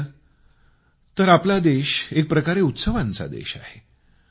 तसं पाहिलं तर आपला देश एकप्रकारे उत्सवांचा देश आहे